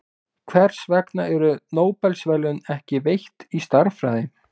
Hvers vegna eru Nóbelsverðlaun ekki veitt í stærðfræði?